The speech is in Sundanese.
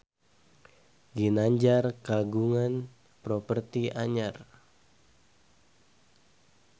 Ginanjar kagungan properti anyar